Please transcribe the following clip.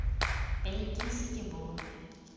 pele ke ise ke bonwe